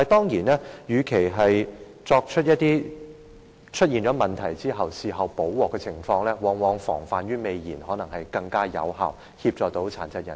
然而，與其在問題出現後補救，不如防患於未然，往往可能更有效地幫助殘疾人士。